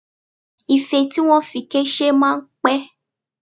Ife tí wọ́n fi ike ṣe máa ń pẹ̀